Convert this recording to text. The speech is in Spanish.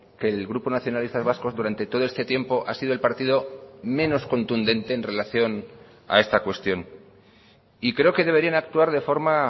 que el grupo nacionalistas vascos durante todo este tiempo ha sido el partido menos contundente en relación a esta cuestión y creo que deberían actuar de forma